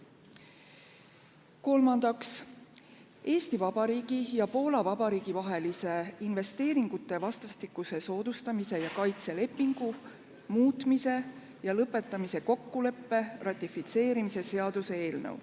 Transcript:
Kolmandaks, Eesti Vabariigi ja Poola Vabariigi vahelise investeeringute vastastikuse soodustamise ja kaitse lepingu muutmise ja lõpetamise kokkuleppe ratifitseerimise seaduse eelnõu.